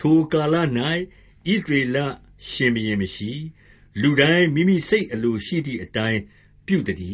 ထိုကာလ၌ ဣသရေလရှင်ဘုရင် မရှိ၊ လူတိုင်းမိမိစိတ်အလိုရှိသည့်အတိုင်း ပြုသတည